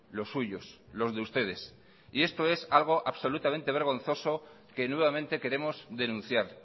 los suyos los de ustedes y esto es algo absolutamente vergonzoso que nuevamente queremos denunciar